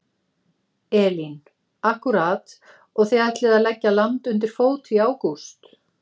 Elín: Akkúrat og þið ætlið að leggja land undir fót í ágúst?